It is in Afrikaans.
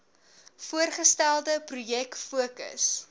voorgestelde projek fokus